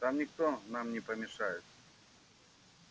там никто нам не помешает